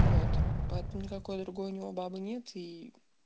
вот под никакой другой у него бабы нет и